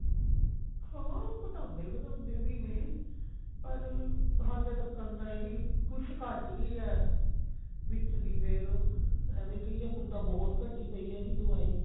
ਹਾਂ ਘਟਾਨਦੇ ਵਧਾਨਦੇ ਵੀ ਨੇ ਪਰ ਹਲੇ ਤੱਕ ਨਾ ਇਹਦੀ ਕੁੱਛ ਘੱਟ ਰਹੀ ਹੈ ਵਿੱਚ ਦੀ ਫੇਰ ਐਵੇਂ ਕਹਿਏ ਹੁਣ ਤਾਂ ਬਹੁਤ ਘੱਟੀ ਪਈ ਹੈ ਇਹਦੀ ਦਵਾਈ